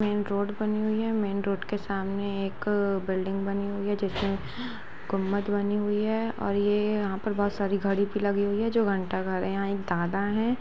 Main road बनी हुई है मैन रोड के सामने एक बिल्डिंग बनी हुई है जिस में गुंबद बनी हुई है और ये यहां पर बहुत सारी घडी भी लगी हुई है जो घंटा घर है यहां एक दादा हैं।